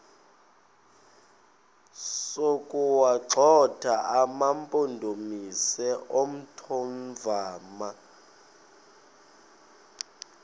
sokuwagxotha amampondomise omthonvama